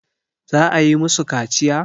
za a yi musu kaciya?